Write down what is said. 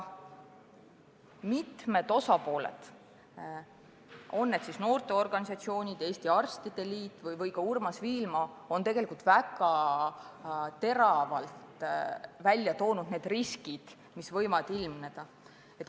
Mitmed osapooled – olgu noorteorganisatsioonid, Eesti Arstide Liit või ka Urmas Viilma – on väga teravalt välja toonud riskid, mis võivad ilmneda.